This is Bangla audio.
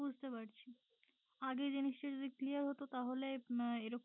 বুঝতে পারছি আগে জিনিস টা যদি clear হতো তাহলে আহ এর